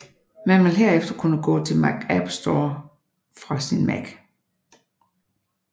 Man vil herefter kunne tilgå Mac App Store fra sin mac